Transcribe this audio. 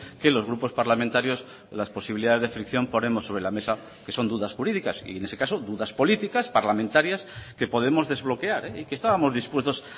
que los grupos parlamentarios las posibilidades de fricción ponemos sobre la mesa que son dudas jurídicas y en ese caso dudas políticas parlamentarias que podemos desbloquear y que estábamos dispuestos